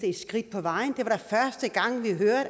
et skridt på vejen og